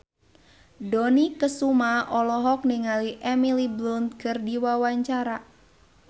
Dony Kesuma olohok ningali Emily Blunt keur diwawancara